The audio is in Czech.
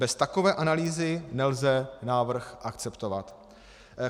Bez takové analýzy nelze návrh akceptovat.